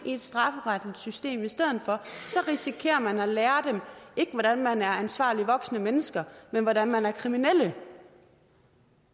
i et strafferetligt system i stedet for risikerer man at lære dem ikke hvordan man er ansvarlige voksne mennesker men hvordan man er kriminelle